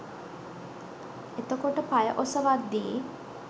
එතකොට පය ඔසවද්දි